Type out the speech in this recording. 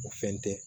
O fɛn tɛ